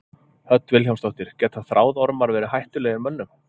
Hödd Vilhjálmsdóttir: Geta þráðormar verið hættulegir mönnum?